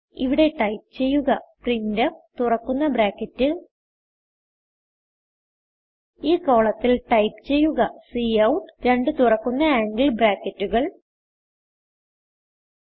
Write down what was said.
ഇവിടെ ടൈപ്പ് ചെയ്യുക പ്രിന്റ്ഫ് തുറക്കുന്ന ബ്രാക്കറ്റ് ഈ കോളത്തിൽ ടൈപ്പ് ചെയ്യുക കൌട്ട് രണ്ട് തുറക്കുന്ന ആംഗിൾ ബ്രാക്കറ്റുകൾ എൽടിഎൽടി